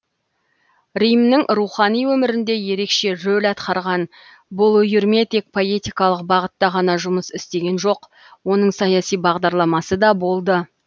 римнің рухани өмірінде ерекше рөл атқарған бұл үйірме тек поэтикалық бағытта ғана жұмыс істеген жоқ оның саяси бағдарламасы да болды